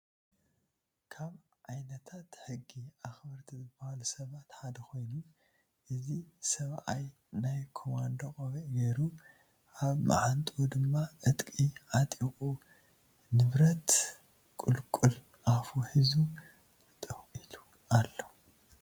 ካብ ዓይነታት ሕጊ ኣክበረቲ ዝበሃሉ ሰባት ሓደ ኮይኑ እዚ ሰባኣየ ናይ ኮማዶ ቆቢዕ ገይሩ ኣበ ማዓንጡኡ ድማ ዕጥቂ ዓቀጢቁ ፣ብረት ንቁልቁል ኣፉ ሒዙ ጠጠው ኢሉ ኣሎ።